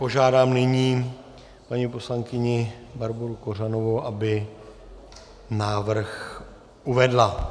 Požádám nyní paní poslankyni Barboru Kořanovou, aby návrh uvedla.